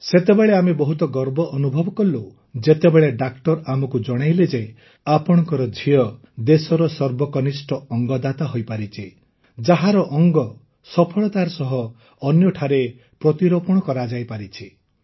ସେତେବେଳେ ଆମେ ବହୁତ ଗର୍ବ ଅନୁଭବ କଲୁ ଯେତେବେଳେ ଡାକ୍ତର ଆମକୁ ଜଣାଇଲେ ଯେ ଆପଣଙ୍କ ଝିଅ ଦେଶର ସର୍ବକନିଷ୍ଠ ଅଙ୍ଗଦାତା ହୋଇପାରିଛି ଯାହାର ଅଙ୍ଗ ସଫଳତାର ସହ ଅନ୍ୟଠାରେ ପ୍ରତିରୋପଣ କରାଯାଇପାରିଛି